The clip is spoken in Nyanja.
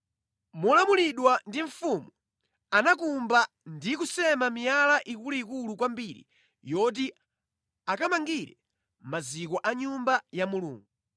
Molamulidwa ndi mfumu, anakumba ndi kusema miyala ikuluikulu kwambiri yoti akamangire maziko a Nyumba ya Mulungu.